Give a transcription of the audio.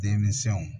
Denmisɛnw